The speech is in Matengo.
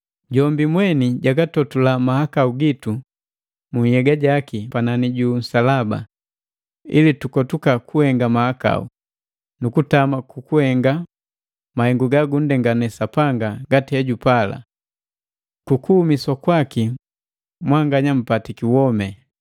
Jombi mweni jagatotula mahakau gitu mu nhyega jaki panani ju nsalaba, ili tukotuka kuhenga mahakau, nukutama kukuhenga mahengu gagunndengane Sapanga ngati hejupala. Kukuhumiswa kwaki mwanganya npatiki womi.